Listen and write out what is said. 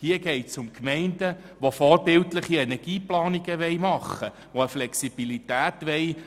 Hier geht es um Gemeinden, die eine vorbildliche Energieplanung realisieren und eine Flexibilität wollen.